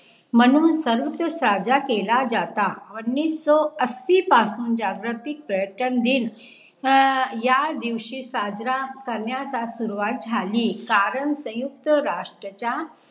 म्हणून सर्वत्र साजा केला जाता, उन्नीसो अस्सी पासुन जागृतीक पर्यटन दिन अं या दिवशी साजरा करण्याच्या सुरुवात झाली कारण संयुक्त राष्ट्र च्या